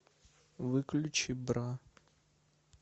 выключи бра